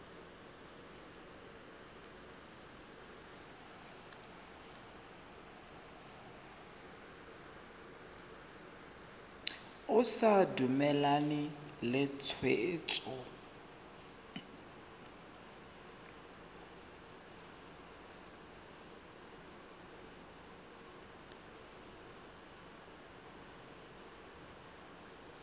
o sa dumalane le tshwetso